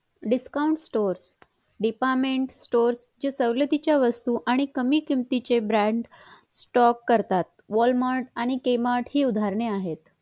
discount store department store जे सवलतीच्या वस्तू आणि किंमतीचे brand stock करतात walmart आणि kmart हि उदाहरणे आहेत